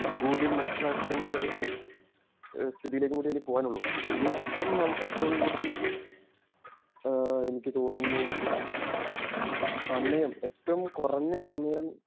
കൂടിം മനസിലാകുന്ന ഒരു സ്ഥിതിയിലേക്കും കൂടി ഇനി പോകാൻ ഒള്ളു ഇനി ഇപ്പോം ഏറ്റവും കൂടുതൽ ആഹ് എനിക്ക് തോനുന്നു സമയം ഏറ്റവും കുറഞ്ഞ സമയം